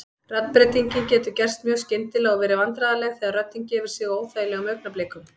Raddbreytingin getur gerst mjög skyndilega og verið vandræðaleg þegar röddin gefur sig á óþægilegum augnablikum.